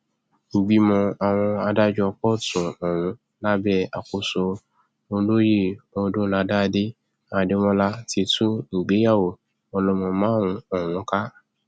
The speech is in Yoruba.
ìgbìmọ àwọn adájọ kóòtù ọhún lábẹ àkóso olóyè odúnádádé adémọlá ti tú ìgbéyàwó ọlọmọ márùnún ọhún ká